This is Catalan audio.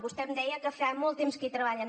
vostè em deia que fa molt temps que hi treballen